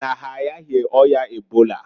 Mana ha ayaghi oya ebola.